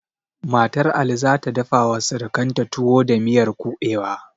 Matar ali zata dafa wa sirikanta tuwo da miyar kuɓewa